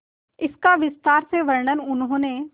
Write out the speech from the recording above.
इसका विस्तार से वर्णन उन्होंने